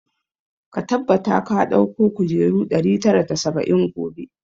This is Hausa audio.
Ka tabbata ka dauko kujeru ɗari tara da saba'in gobe!